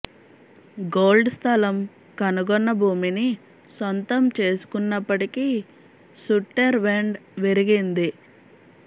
gold స్ధలం కనుగొన్న భూమిని సొంతం చేసుకున్నప్పటికీ సుట్టెర్ వెండ్ విరిగింది